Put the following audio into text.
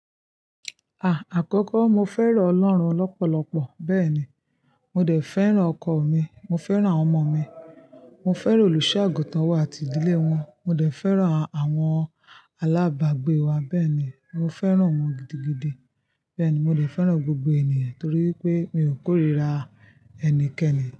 À, àkọ́kọ́ mo fẹ́ràn Ọlọ́run lọ́pọ̀lọpọ̀, bẹ́ẹ̀ ni, mo dẹ̀ fẹ́ràn ọkọ mi, mo fẹ́ràn àwọn ọmọ mi, mo fẹ́ràn olùṣọ́-àgùntàn wa àti ìdílé wọn, mo dẹ̀ fẹ́ràn àwọn alábàágbé wa bẹ́ẹ̀ ni, mo fẹ́ràn wọn gidigidi. Bẹ́ẹ̀ ni, mo dẹ̀ fẹ́ràn gbogbo ènìyàn torí pé mi ò kórìíra ẹnikẹ́ni.